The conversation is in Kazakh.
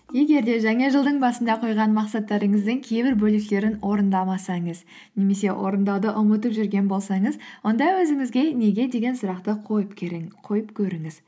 егер де жаңа жылдың басында қойған мақсаттарыңыздың кейбір бөліктерін орындамасаңыз немесе орындауды ұмытып жүрген болсаңыз онда өзіңізге неге деген сұрақты қойып көріңіз